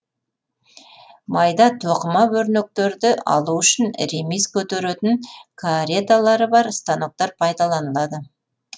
майда тоқыма өрнектерді алу үшін ремиз көтеретін кареталары бар станоктар пайдаланылады